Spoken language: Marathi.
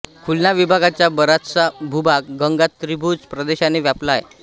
खुलना विभागाचा बराचसा भूभाग गंगा त्रिभुज प्रदेशाने व्यापला आहे